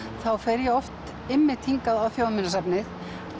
þá fer ég oft einmitt hingað á Þjóðminjasafnið